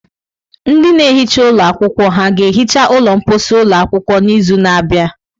Ndị na-ehicha ụlọ akwụkwọ ha ga-ehicha ụlọ mposi ụlọ akwụkwọ n'izu na-abịa?